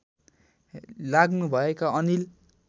लाग्नुभएका अनिल